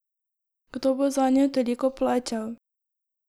Kdo bo zanjo toliko plačal?